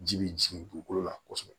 Ji bi jigin dugukolo la kosɛbɛ